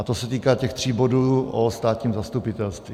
A to se týká těch tří bodů o státním zastupitelství.